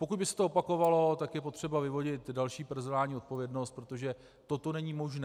Pokud by se to opakovalo, tak je potřeba vyvodit další personální odpovědnost, protože toto není možné.